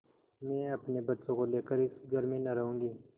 मैं अपने बच्चों को लेकर इस घर में न रहूँगी